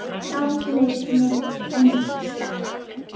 Látlaus mynd en sterk.